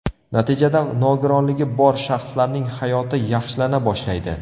Natijada nogironligi bor shaxslarning hayoti yaxshilana boshlaydi.